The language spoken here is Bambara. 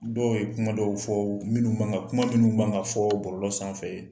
Dɔw ye kuma dɔw fɔ minnu ma ŋa kuma minnu ma ŋa fɔɔ bɔlɔlɔ sanfɛ.